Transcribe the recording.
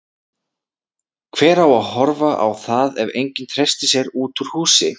Hver á að horfa á það ef enginn treystir sér út úr húsi?